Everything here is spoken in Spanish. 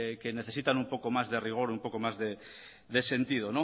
que necesitan un poco más de rigor un poco más de sentido